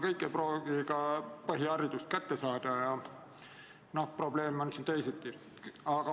Kõik ei pruugi aga põhiharidust kätte saada ja probleeme on siin teisigi.